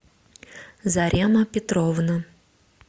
зарема петровна